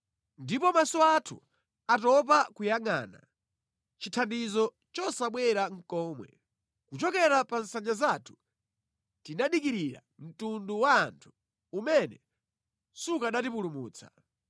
Ndiponso maso athu atopa nʼkuyangʼana, chithandizo chosabwera nʼkomwe, kuchokera pa nsanja zathu tinadikirira mtundu wa anthu umene sukanatipulumutsa.